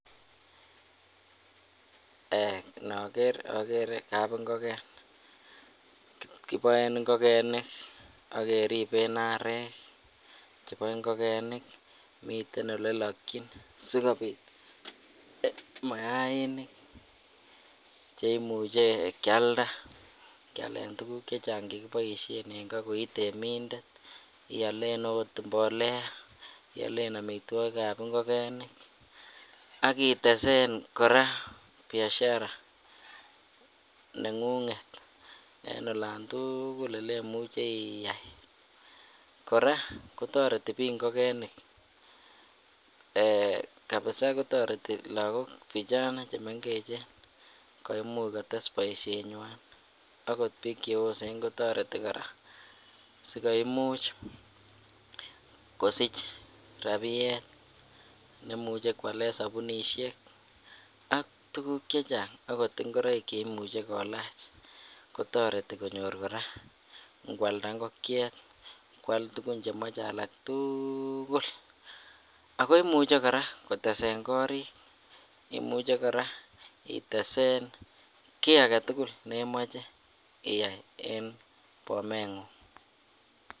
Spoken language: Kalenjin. Eeh inoker okere kabing'oken kiboen ing'okenik ak keriben arek chebo ing'okenik miten olelokyin sikobit mayainik cheimuche kialda kialen tukuk chechang chekiboishen en koo koi temindet ialen oot mbolea ialen amitwokikab ing'okenik ak itesen kora biashara neng'ung'et en olan tukul olemuche iyai, kora kotorerti biik ing'okenik eeh kabisa kotoreti lokok vijana chemeng'echen koimuch kotes boishenywan akot biik cheyosen kotoreti kora sikoimuch kosich rabiet neimuche kwalen sobiunishek ak tukuk chechang akot ing'oroik cheimuche kolach kotoreti konyor kora ing'walda ing'okiet, kwal tukun chemoche alak tukul, ak ko imuche kora kotesen korik, imuche kora itesen kii aketukul nemoche iyai en bomeng'ung.